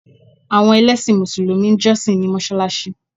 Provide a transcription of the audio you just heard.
Àwọn ẹlẹ́sìn mùsùlùmí ń jọ́ṣì ní mọsáláṣí